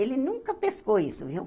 Ele nunca pescou isso, viu?